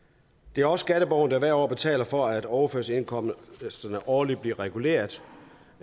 det er også skatteborgerne der hvert år betaler for at overførselsindkomsterne årligt bliver reguleret